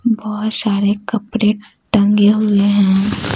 बहुत सारे कपड़ेटंगे हुए हैं।